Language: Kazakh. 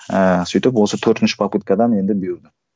ііі сөйтіп осы төртінші попыткадан енді бұйырды